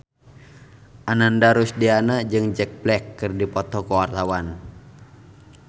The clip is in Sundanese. Ananda Rusdiana jeung Jack Black keur dipoto ku wartawan